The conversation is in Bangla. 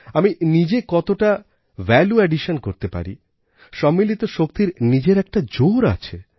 আমি নিজে কতটা ভ্যালু অ্যাডিশন করতে পারি সম্মিলিত শক্তির নিজের একটা জোর আছে